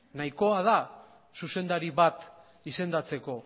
nahikoa da zuzendari bat izendatzeko